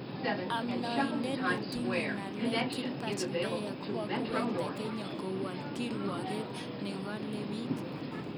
Amdoindet netinye ngalek Gilbert Deya kokakiwekta kenya kowol kirwoget nengole bik